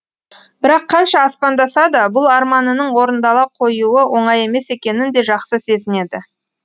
бірақ қанша аспандаса да бұл арманының орындала қоюы оңай емес екенін де жақсы сезінеді